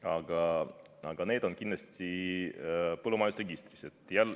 Aga põllumajandusloomad on kindlasti põllumajandusregistris.